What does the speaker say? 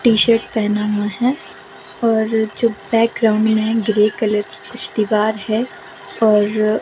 T shirt पहना हुआ है और जो बैक ग्राउंड में है ग्रे कलर की कुछ दीवार है और--